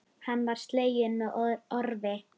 Hann var sleginn með orfi.